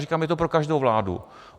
Říkám, je to pro každou vládu.